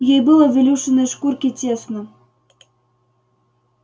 ей было в илюшиной шкурке тесно